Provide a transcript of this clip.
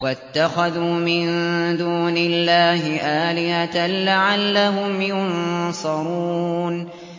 وَاتَّخَذُوا مِن دُونِ اللَّهِ آلِهَةً لَّعَلَّهُمْ يُنصَرُونَ